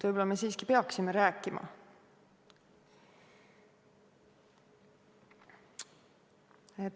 Võib-olla me siiski peaksime rääkima?